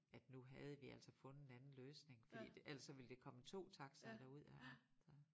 At nu havde vi altså fundet en anden løsning fordi det ellers så ville der kommet 2 taxaer derud og så